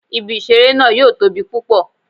Ibi-iṣere naa yoo tobi pupọ